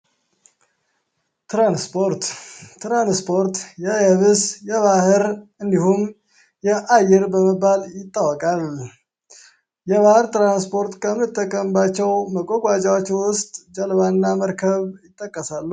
ትራንስፖርት ትራንስፖርት የየብስ የባህር እንዲሁም የአየር በመባል ይታወቃል። የባህር ትራንስፖርት ከምንጠቀምባቸው መጓጓዣዎች ውስጥ ጀልባ እና መርከብ ይጠቀሳሉ።